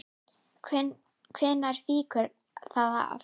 Hvenær fýkur það af?